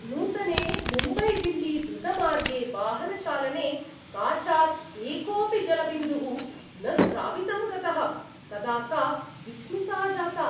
नूतने मुम्बैदिल्लीद्रुतमार्गे वाहनचालने काचात् एकोपि जलबिन्दुः न स्रावितं गतः तदा सा विस्मिता जाता।